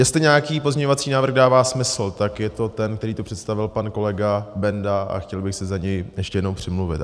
Jestli nějaký pozměňovací návrh dává smysl, tak je to ten, který tu představil pan kolega Benda, a chtěl bych se za něj ještě jednou přimluvit.